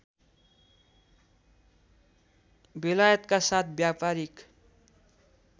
बेलायतका साथ व्यापारीक